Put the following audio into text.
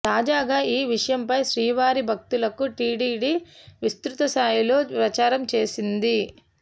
తాజాగా ఈ విషయంపై శ్రీవారి భక్తులకు టిటిడి విస్తృతస్థాయిలో ప్రచారం చేస్తోంది